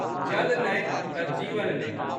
जल नहि तs जीवन नहि।